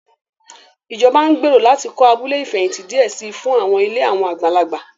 Ìjọba ń gbèrò láti kọ́ abúlé ìfẹ̀hìntì díẹ̀ si fún àwọn ilé àwọn àgbàlagbà